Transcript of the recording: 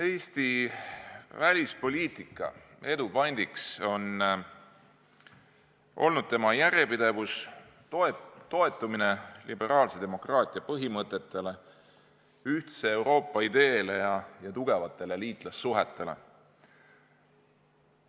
Eesti välispoliitika edu pant on olnud selle järjepidevus, toetumine liberaalse demokraatia põhimõtetele, ühtse Euroopa ideele ja tugevatele liitlassuhetele.